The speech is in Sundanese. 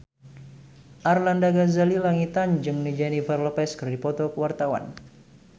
Arlanda Ghazali Langitan jeung Jennifer Lopez keur dipoto ku wartawan